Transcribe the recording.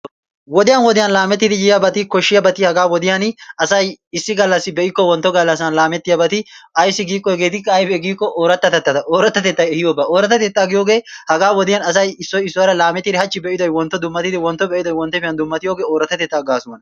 Wodiyan wodiyan laamettidi yiyabati koshiyabati hagaa wodiyan issi gallaassa be'ikko wontto gallassan laametiyabati ayssi giikko hegeetikka aybee giikko ooratattetaa, ooratattettay ehiiyoba oorattatettaa giyogee hagaa wodiyan asay issoy issuwara laameetidi hachchi be'idoy wontto dummattidi wonttife dummattiyogee ooratattetaa gaasuwana.